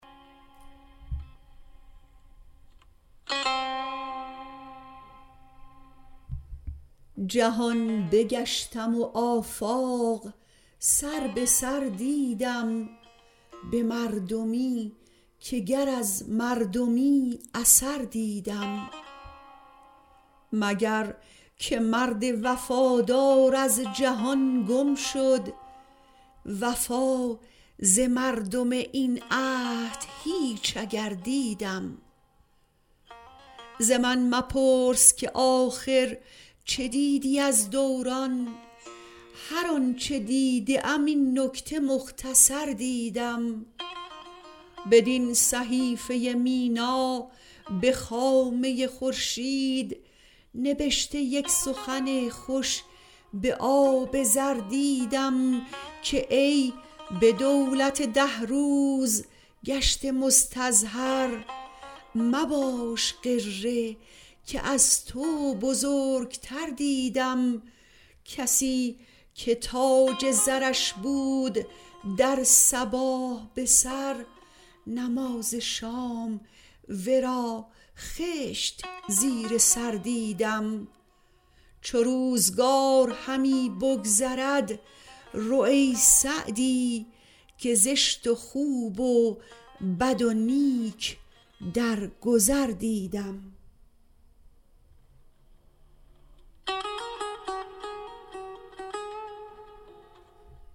جهان بگشتم و آفاق سر به سر دیدم به مردمی که گر از مردمی اثر دیدم مگر که مرد وفادار از جهان گم شد وفا ز مردم این عهد هیچ اگر دیدم ز من مپرس که آخر چه دیدی از دوران هر آن چه دیدم این نکته مختصر دیدم بدین صحیفه مینا به خامه خورشید نبشته یک سخن خوش به آب زر دیدم که ای به دولت ده روز گشته مستظهر مباش غره که از تو بزرگتر دیدم کسی که تاج زرش بود در صباح به سر نماز شام ورا خشت زیر سر دیدم چو روزگار همی بگذرد رو ای سعدی که زشت و خوب و بد و نیک در گذر دیدم